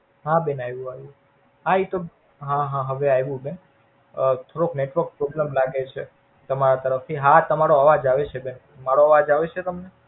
હા બેન આવું આવું. હા ઈ તો હા હા હવે આવું બેન. અ થોડોક NetworkProblem લાગે છે. તમારા તરફથી હા તમારો અવાજ આવે છે. મારો અવાજ આવે છે તમને?